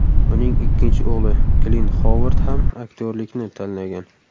Uning ikkinchi o‘g‘li Klint Xovard ham aktyorlikni tanlagan.